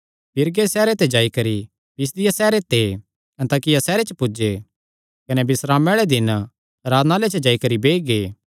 पीरगे सैहरे ते गांह जाई करी पिसिदिया सैहरे ते दे अन्ताकिया सैहरे च पुज्जे कने बिस्रामे आल़े दिन आराधनालय च जाई करी बेई गै